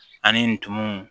Ani ntumuw